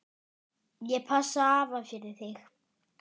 Ég passa afa fyrir þig.